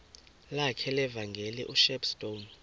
lakhe levangeli ushepstone